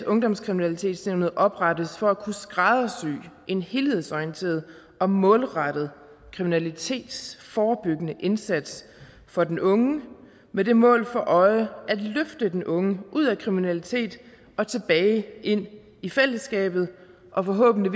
ungdomskriminalitetsnævnet oprettes for at kunne skræddersy en helhedsorienteret og målrettet kriminalitetsforebyggende indsats for den unge med det mål for øje at løfte den unge ud af kriminalitet og tilbage ind i fællesskabet og forhåbentlig